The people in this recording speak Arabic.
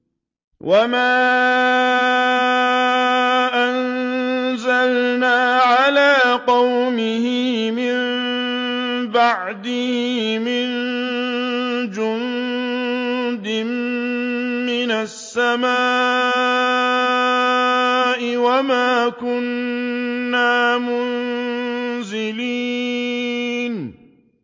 ۞ وَمَا أَنزَلْنَا عَلَىٰ قَوْمِهِ مِن بَعْدِهِ مِن جُندٍ مِّنَ السَّمَاءِ وَمَا كُنَّا مُنزِلِينَ